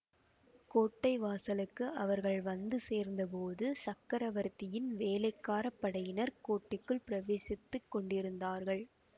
கோட்டை வாசலுக்கு அவர்கள் வந்து சேர்ந்தபோது சக்கரவர்த்தியின் வேளைக்கார படையினர் கோட்டைக்குள் பிரவேசித்துக் கொண்டிருந்தார்கள்